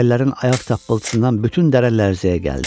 Kəllərin ayaq tappıltısından bütün dərə lərzəyə gəldi.